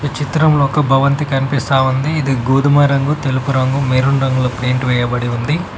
చిత్రంలో ఒక భవంతి కనిపిస్తా ఉంది ఇది గోధుమ రంగు తెలుపు రంగు మెరున్ రంగులో ప్లేట్ వేయబడి ఉంది.